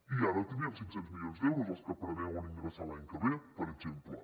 i ara tindríem cinc cents milions d’euros els que preveuen ingressar l’any que ve per exemple